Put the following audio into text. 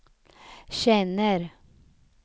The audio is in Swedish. känner